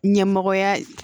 Ɲɛmɔgɔya